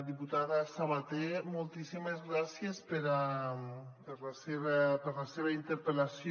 diputada sabater moltíssimes gràcies per la seva interpel·lació